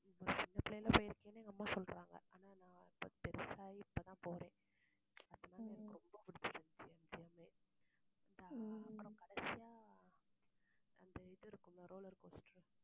சின்னபிள்ளைல போயிருக்கேன் எங்க அம்மா சொல்றாங்க. ஆனா, நான் ரொம்ப பெருசு ஆகி இப்பதான் போறேன். அதனால எனக்கு ரொம்ப பிடிச்சிருந்துச்சி MGM ஏ அப்புறம் கடைசியா, அந்த இது இருக்கும்ல roller coaster